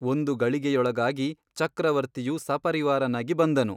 ಒಂದು ಗಳಿಗೆಯೊಳಗಾಗಿ ಚಕ್ರವರ್ತಿಯು ಸಪರಿವಾರನಾಗಿ ಬಂದನು.